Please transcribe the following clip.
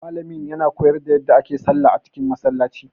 Malamin ya na koyar da yadda ake sallah a cikin Masallaci